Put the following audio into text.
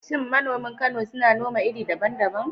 Shin manoman Kano suna noma iri daban-daban?